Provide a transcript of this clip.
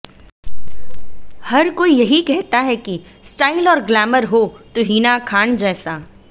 हर कोई यही कहता है कि स्टाइल और ग्लैमर होतो हिना खान जैसा